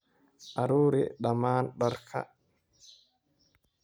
Ururi dhammaan dharka.